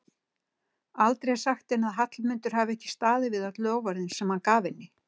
Aldrei sagt henni að Hallmundur hafi ekki staðið við öll loforðin sem hann gaf henni.